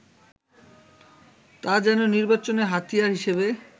তা যেন নির্বাচনের হাতিয়ার হিসেবে